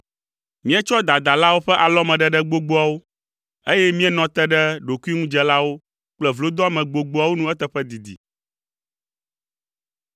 Míetsɔ dadalawo ƒe alɔmeɖeɖe gbogboawo, eye míenɔ te ɖe ɖokuiŋudzelawo ƒe vlodoame gbogboawo nu eteƒe didi.